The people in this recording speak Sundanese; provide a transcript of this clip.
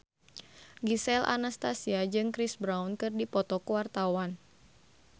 Gisel Anastasia jeung Chris Brown keur dipoto ku wartawan